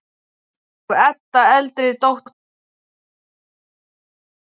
Og Edda, eldri dóttirin, ásamt sambýlismanni sínum